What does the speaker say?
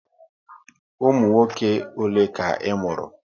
Ụmụ nwoke ole ka ị mụrụ?